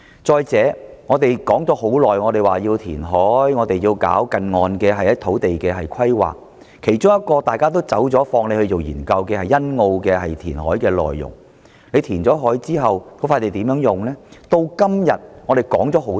再者，我們說了很久要求填海、進行近岸土地規劃，其中一個大家也放棄研究的便是欣澳填海項目，究竟填海後的土地用途為何？